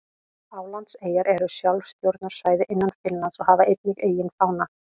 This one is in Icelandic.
Álandseyjar eru sjálfstjórnarsvæði innan Finnlands og hafa einnig eigin fána.